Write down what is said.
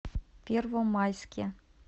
первомайске